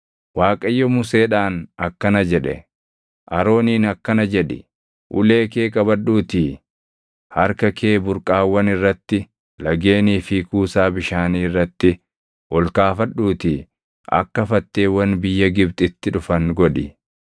Waaqayyo Museedhaan akkana jedhe; “Arooniin akkana jedhi; ‘Ulee kee qabadhuutii harka kee burqaawwan irratti, lageenii fi kuusaa bishaanii irratti ol kaafadhuutii akka fatteewwan biyya Gibxitti dhufan godhi.’ ”